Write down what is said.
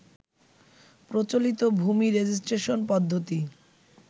প্রচলিত ভূমি রেজিস্ট্রেশন পদ্ধতি